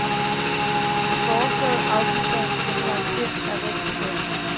De foreslåede afgifter har karakter af ren skat.